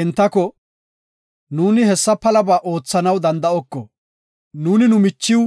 Entako, “Nuuni hessa mela palabaa oothanaw danda7oko, nuuni nu michiw